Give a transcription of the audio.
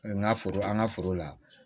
N ka foro an ka foro la